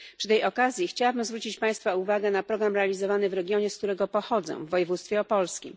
Przy tej okazji chciałabym zwrócić Państwa uwagę na program realizowany w regionie, z którego pochodzę, w województwie opolskim.